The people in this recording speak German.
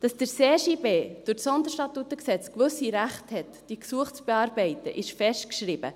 Dass der CJB durch das SStG gewisse Rechte hat, diese Gesuche zu bearbeiten, ist festgeschrieben.